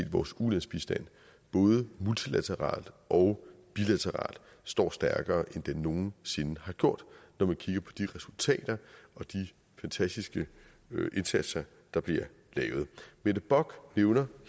at vores ulandsbistand både multilateralt og bilateralt står stærkere end den nogen sinde gjort når man kigger på de resultater og de fantastiske indsatser der bliver lavet mette bock nævner